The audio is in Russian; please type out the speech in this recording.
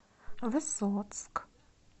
высоцк